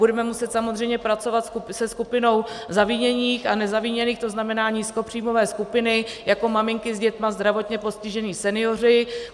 Budeme muset samozřejmě pracovat se skupinou zaviněných a nezaviněných, to znamená nízkopříjmové skupiny jako maminky s dětmi, zdravotně postižení, senioři.